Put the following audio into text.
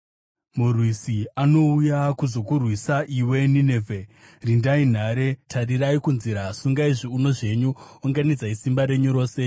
Murwisi anouya kuzokurwisa iwe, Ninevhe; rindai nhare, tarirai kunzira, sungai zviuno zvenyu, unganidzai simba renyu rose!